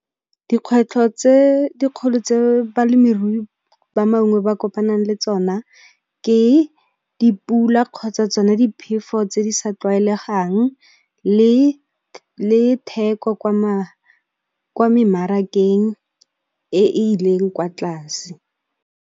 Dikgwetlho tse dikgolo tse balemirui ba mangwe ba kopanang le tsona ke dipula kgotsa tsona diphefo tse di sa tlwaelegang, le theko kwa memarakeng e ileng kwa tlase.